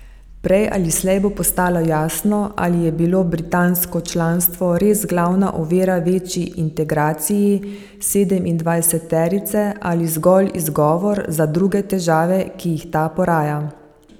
Prej ali slej bo postalo jasno, ali je bilo britansko članstvo res glavna ovira večji integraciji sedemindvajseterice ali zgolj izgovor za druge težave, ki jih ta poraja.